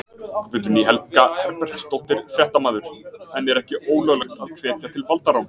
Guðný Helga Herbertsdóttir, fréttamaður: En er ekki ólöglegt að hvetja til valdaráns?